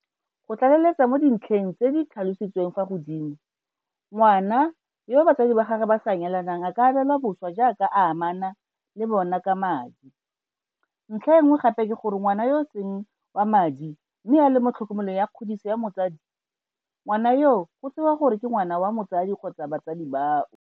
Go tlaleletsa mo dintlheng tse di tlhalositsweng fa godimo, ngwana yo batsadi ba gagwe ba sa nyalanang a ka abelwa boswa jaaka a amana le bona ka madi, ntlha e nngwe gape ke gore ngwana yo e seng wa madi mme a le mo tlhokomelong ya kgodiso ya motsadi, ngwana yoo go tsewa gore ke ngwana wa motsadi kgotsa batsadi bao.